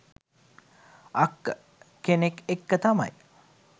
අක්ක කෙනෙක් එක්ක තමයි